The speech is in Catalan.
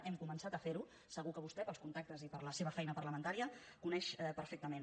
hem començat a fer ho segur que vostè pels contactes i per la seva feina parlamentària ho coneix perfectament